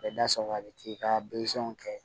Bɛ da sɔgɔ a bɛ t'i ka kɛ